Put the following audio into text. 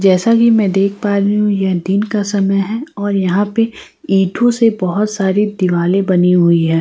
जैसा कि मैं देख पा रही हूं यह दिन का समय है और यहां पे ईंटों से बहुत सारी दिवाली बनी हुई है।